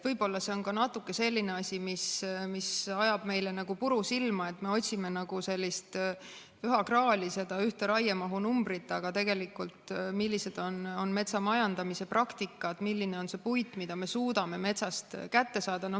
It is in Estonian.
Võib-olla see ajab meile natuke puru silma, et me otsime nagu sellist püha graali, seda ühte raiemahu numbrit, aga tegelikult loeb see, milline on metsamajandamise praktika, milline on see puit, mida me suudame metsast kätte saada.